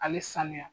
A bɛ sanuya